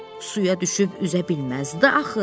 Suya düşüb üzə bilməzdi axı.